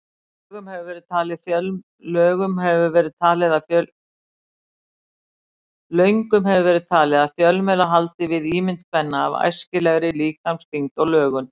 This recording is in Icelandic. Löngum hefur verið talið að fjölmiðlar haldi við ímynd kvenna af æskilegri líkamsþyngd og lögun.